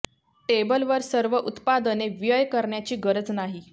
table वर सर्व उत्पादने व्यय करण्याची गरज नाही